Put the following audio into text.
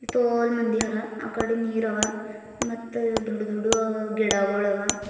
ತೊಲ್ ಮಂದಿ ಅರ ಅಕಡಿ ನೀರ ಅವ ಮತ್ತ್ ದೊಡ್ಡು ದೊಡ್ದು ಗಿಡಗೋಳವ.